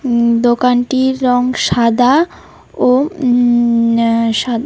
উম দোকানটির রং সাদা ও উম--- সা--